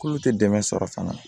K'olu tɛ dɛmɛ sɔrɔ fana